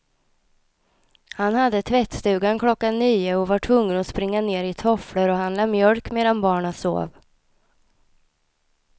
Han hade tvättstugan klockan nio och var tvungen att springa ned i tofflor och handla mjölk medan barnen sov.